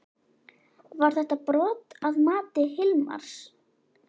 Var þetta brot að mati Hilmars?